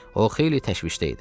O xeyli təşvişdə idi.